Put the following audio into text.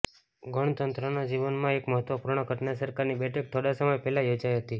ગણતંત્ર ના જીવન માં એક મહત્વપૂર્ણ ઘટના સરકારની બેઠક થોડા સમય પહેલા યોજાઇ હતી